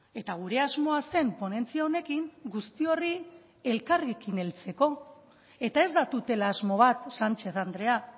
eta gure asmoa zen ponentzia honekin guzti horri elkarrekin heltzeko eta ez da tutela asmo bat sánchez andrea